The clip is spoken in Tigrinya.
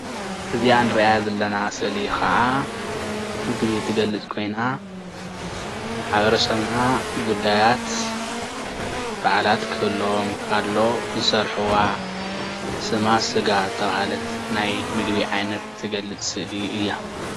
እዚኣ ንሪኣ ዘለና ስእሊ ከዓ ምግቢ ትገልፅ ኾይና ማሕበረሰብና ጉዳያት በዓላት ክህልዎም ከሎ ዝሰርሕዋ ስማ ስጋ ተብሃለት ናይ ምግቢ ዓይነት ትገልፅ ስእሊ እያ።